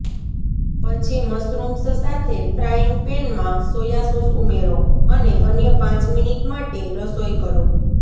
પછી મશરૂમ્સ સાથે ફ્રાયિંગ પેનમાં સોયા સોસ ઉમેરો અને અન્ય પાંચ મિનિટ માટે રસોઇ કરો